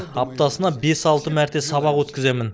аптасына бес алты мәрте сабақ өткіземін